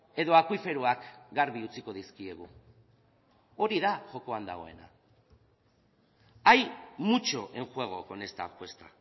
edo akuiferoak garbi utziko dizkiegu hori da jokoan dagoena hay mucho en juego con esta apuesta